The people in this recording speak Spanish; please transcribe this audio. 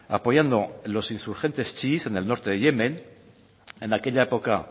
apoyando los insurgentes chiís en el norte de yemen en aquella época